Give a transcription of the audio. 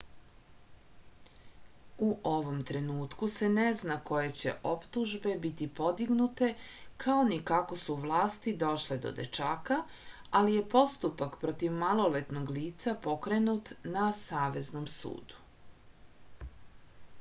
u ovom trenutku se ne zna koje će optužbe biti podignute kao ni kako su vlasti došle do dečaka ali je postupak protiv maloletnog lica pokrenut na saveznom sudu